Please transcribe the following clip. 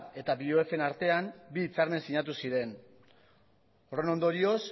eta bioef en artean bi hitzarmen sinatu ziren horren ondorioz